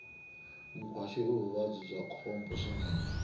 nkhwashu i vuvabyi bya khombo swinene